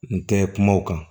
N tɛ kuma o kan